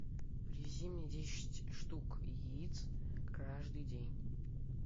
привези мне десять штук яиц каждый день